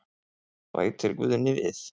Bætir Guðni við.